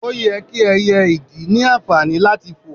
oye ki ẹyẹ ìdì ni anfani lati foò